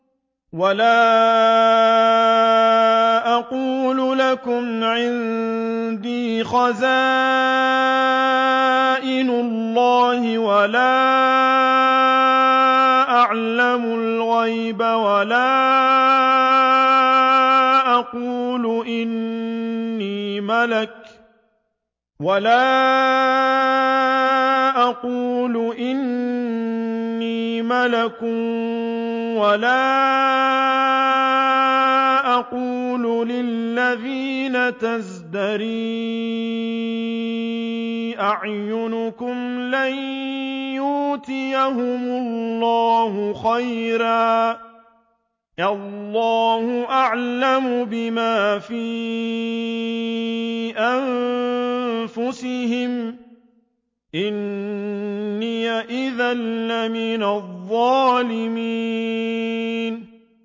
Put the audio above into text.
وَلَا أَقُولُ لَكُمْ عِندِي خَزَائِنُ اللَّهِ وَلَا أَعْلَمُ الْغَيْبَ وَلَا أَقُولُ إِنِّي مَلَكٌ وَلَا أَقُولُ لِلَّذِينَ تَزْدَرِي أَعْيُنُكُمْ لَن يُؤْتِيَهُمُ اللَّهُ خَيْرًا ۖ اللَّهُ أَعْلَمُ بِمَا فِي أَنفُسِهِمْ ۖ إِنِّي إِذًا لَّمِنَ الظَّالِمِينَ